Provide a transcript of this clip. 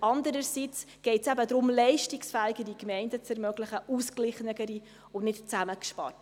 Andererseits geht es eben darum, leistungsfähigere Gemeinden zu ermöglichen – ausgeglichenere und nicht zusammengesparte.